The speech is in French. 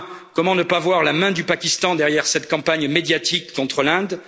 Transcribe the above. loi. Enfin, comment ne pas voir la main du Pakistan derrière cette campagne médiatique contre l'Inde?